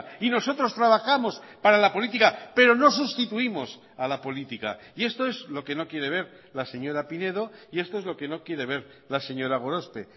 y nosotros trabajamos para la política pero no sustituimos a la política y esto es lo que no quiere ver la señora pinedo y esto es lo que no quiere ver la señora gorospe